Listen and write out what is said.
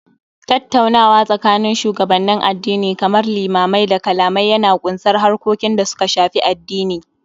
Tattaunawa tsakanin shugabannin addini kamar limamai da kalamai Yana ƙunsar harkokin da suka Shafi addini